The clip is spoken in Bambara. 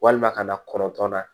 Walima ka na kɔnɔntɔn na